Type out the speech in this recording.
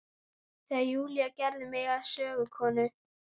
Þegar Júlía gerði mig að sögukonu.